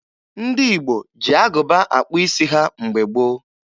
Ndị Igbo ji agụba akpụ isi ha mgbe gboo.